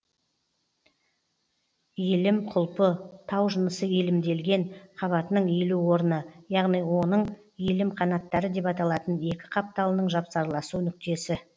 иілім құлпы тау жынысы иілімделген қабатының иілу орыны яғни онын иілім қанаттары деп аталатын екі қапталының жапсарласу нүктесі